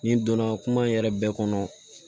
N'i donna kuma in yɛrɛ bɛɛ kɔnɔ